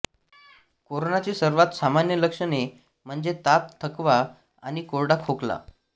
कोरोनाची सर्वात सामान्य लक्षणे म्हणजे ताप थकवा आणि कोरडा खोकला